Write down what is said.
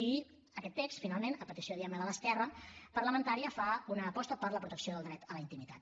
i aquest text finalment a petició diguem ne de l’esquerra parlamentària fa una aposta per la protecció del dret a la intimitat